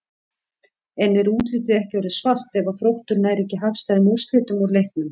En er útlitið ekki orðið svart ef að Þróttur nær ekki hagstæðum úrslitum úr leiknum?